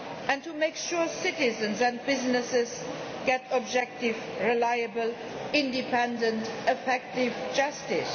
and making sure citizens and businesses get objective, reliable, independent, effective justice.